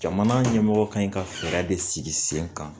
Jamana ɲɛmɔgɔ kan ka fɛɛrɛ de sigi sen kan